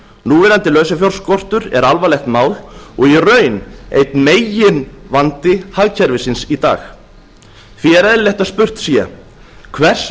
núverandi lausafjárskortur er alvarlegt mál og í raun einn meginvandi hagkerfisins í dag því er eðlilegt að spurt sé hvers